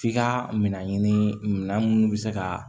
F'i ka minɛ ɲini bɛ se ka